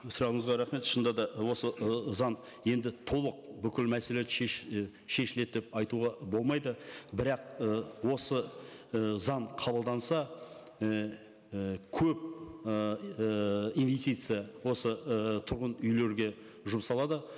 сұрағыңызға рахмет шынында да осы ы заң енді толық бүкіл мәселелерді і шешіледі деп айтуға болмайды бірақ ы осы і заң қабылданса ііі көп ыыы инвестиция осы ыыы тұрғын үйлерге жұмсалады